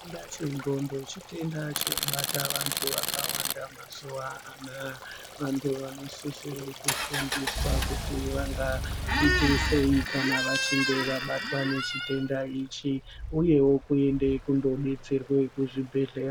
Chitenda chendxondo chitenda chinobata antu akawanda mazuwa anawa vantu vakawanda mazuva anawa vantu vanosisira kufundiswa kuti vanga ite sei kana vachinge vabatwa nechitenda ichi uyezve kundobetserwa kuzvibhedhlera.